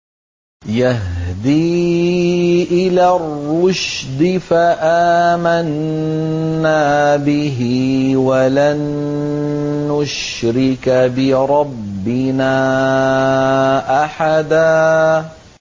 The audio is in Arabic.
يَهْدِي إِلَى الرُّشْدِ فَآمَنَّا بِهِ ۖ وَلَن نُّشْرِكَ بِرَبِّنَا أَحَدًا